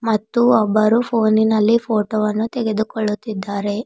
ಮತ್ತು ಒಬ್ಬರು ಫೋನಿನಲ್ಲಿ ಫೋಟೋ ವನ್ನು ತೆಗೆದುಕೊಳ್ಳುತ್ತಿದ್ದಾರೆ.